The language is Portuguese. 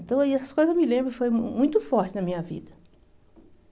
Então, essas coisas, eu me lembro, foi muito fortes na minha vida.